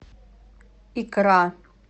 икра